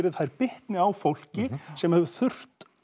þær bitni á fólki sem hefur þurft